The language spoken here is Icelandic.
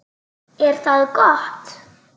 Er það gott?